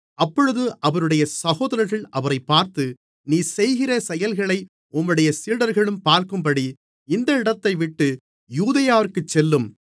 அப்பொழுது அவருடைய சகோதரர்கள் அவரைப் பார்த்து நீர் செய்கிற செயல்களை உம்முடைய சீடர்களும் பார்க்கும்படி இந்த இடத்தைவிட்டு யூதேயாவிற்கு செல்லும்